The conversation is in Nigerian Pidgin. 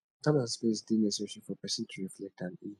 time and space dey necessary for pesin to reflect and heal